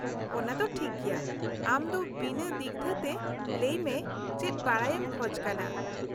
-ᱚᱱᱟ ᱫᱚ ᱴᱷᱤᱠ ᱜᱮᱭᱟ, ᱟᱢ ᱫᱚ ᱵᱤᱱᱟᱹ ᱫᱤᱜᱽᱫᱷᱟᱹᱛᱮ ᱞᱟᱹᱭ ᱢᱮ ᱪᱮᱫ ᱵᱟᱰᱟᱭᱮᱢ ᱠᱷᱚᱡᱽ ᱠᱟᱱᱟ ?